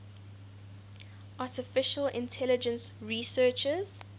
artificial intelligence researchers